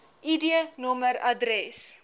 id nommer adres